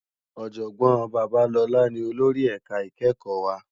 Òjògbòn Babalola ni ólórì èká ikèékò wá